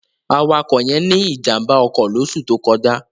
Awakọ̀ yẹn ní ìjàm̀bá ọkọ̀ lóṣù tó kọjá.